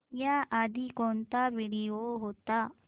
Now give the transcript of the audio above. याआधी कोणता व्हिडिओ होता